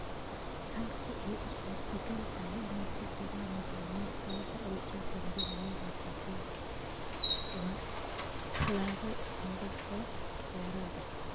Halka ay suurtagal tahay, oo ay ku jiraan macallimiinta marka ay soo bandhigayaan natiijooyinka, waa tallaabo togan oo dheeraad ah.